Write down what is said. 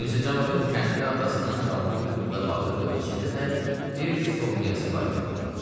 Mirzə Cavadın kənddə atasından qalma bir xırda bağı və içində də bir sovməsi var idi.